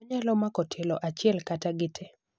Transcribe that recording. onyalo mako tielo achiel kata gitee